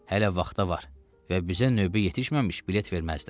Hələ vaxta var və bizə növbə yetişməmiş bilet verməzlər.